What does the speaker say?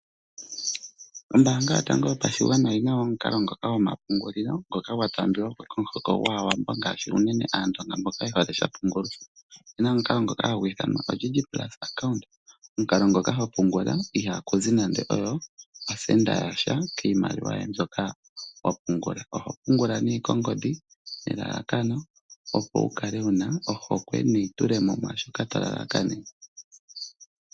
Ombaanga yotango yoapshigwana oyi na omukalo ngoka gomapungulilo ngoka gwa taambiwa ko komuhoko gwAawambo ngaashi unene komuhoko gwAandonga mboka ye hole unene sha pungulwa. Opu na omukalo ngoka hagu ithanwa oDigit plus Account, omukalo ngoka hagu pungula ihaaku zi nando osenda yasha kiimaliwa mbyoka wa pungula. Oho pungula nduno kongodhi nelalakano, opo wu kale wu na ohokwe neitule mo mwaa shoka to lalakanene.